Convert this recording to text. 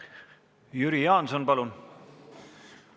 Jüri Jaanson, palun!